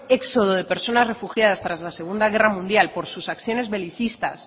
éxodo de personas refugiadas tras la segundo guerra mundial por sus acciones belicistas